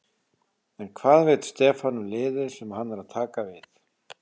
En hvað veit Stefán um liðið sem hann er að taka við?